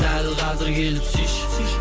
дәл қазір келіп сүйші сүйші